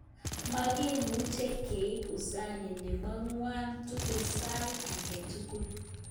Makimuche keip uzani nepo kwang tugul sait angetugul.